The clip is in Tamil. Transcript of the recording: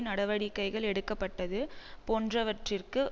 நடவடிக்கைகள் எடுக்க பட்டது போன்றவற்றிற்கு